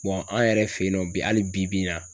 an yɛrɛ fɛ yen nɔ bi hali bi bi in na.